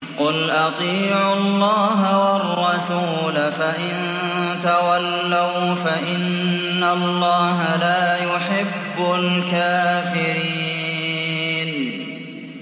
قُلْ أَطِيعُوا اللَّهَ وَالرَّسُولَ ۖ فَإِن تَوَلَّوْا فَإِنَّ اللَّهَ لَا يُحِبُّ الْكَافِرِينَ